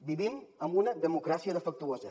vivim en una democràcia defectuosa